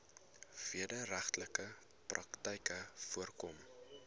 wederregtelike praktyke voorkom